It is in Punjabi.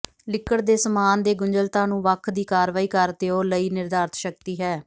ਲਿੱਕੜ ਦੇ ਸਾਮਾਨ ਦੇ ਗੁੰਝਲਤਾ ਨੂੰ ਵੱਖ ਦੀ ਕਾਰਵਾਈ ਕਰ ਦਿਓ ਲਈ ਨਿਰਧਾਰਿਤ ਸ਼ਕਤੀ ਹੈ